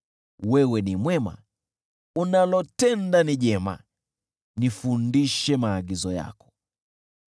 Wewe ni mwema, unalotenda ni jema, nifundishe maagizo yako.